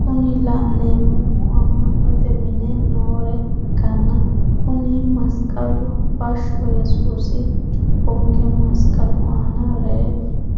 Kuni la'neemohu amma'note mine noore ikkanna kuni masiqalu bashsho yesuusi cubbonke masiqalu aana rey